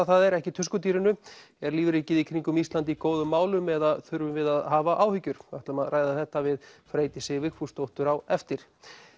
það er ekki er lífríkið í kringum Ísland í góðum málum eða þurfum við að hafa áhyggjur við ætlum að ræða þetta við Freydísi Vigfúsdóttur á eftir